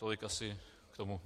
Tolik asi k tomu.